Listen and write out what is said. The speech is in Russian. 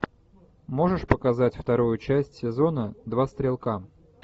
можешь показать вторую часть сезона два стрелка